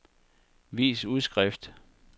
vis udskrift